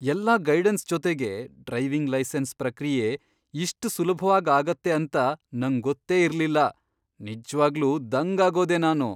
ಎಲ್ಲಾ ಗೈಡನ್ಸ್ ಜೊತೆಗೆ driving licence ಪ್ರಕ್ರಿಯೆ ಇಷ್ಟ್ ಸುಲ್ಭವಾಗ್ ಆಗತ್ತೆ ಅಂತ ನಂಗ್ ಗೊತ್ತೇ ಇರ್ಲಿಲ್ಲ, ನಿಜ್ವಾಗ್ಲೂ ದಂಗಾಗೋದೆ ನಾನು!